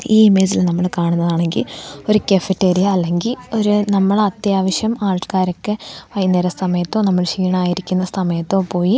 ഈ ഇമേജിൽ നമ്മൾ കാണുന്നതാണെങ്കിൽ ഒരു കഫെറ്റീരിയ അല്ലെങ്കിൽ ഒരു നമ്മൾ അത്യാവശ്യം ആൾക്കാരൊക്കെ വൈകുന്നേര സമയത്തോ നമ്മൾ ക്ഷീണായിരിക്കുന്ന സമയത്തോ പോയി--